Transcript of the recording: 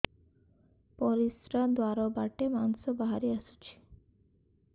ପରିଶ୍ରା ଦ୍ୱାର ବାଟେ ମାଂସ ବାହାରି ଆସୁଛି